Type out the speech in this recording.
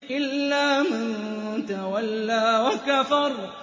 إِلَّا مَن تَوَلَّىٰ وَكَفَرَ